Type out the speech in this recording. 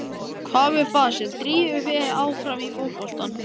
Hvað er það sem drífur þig áfram í fótboltanum?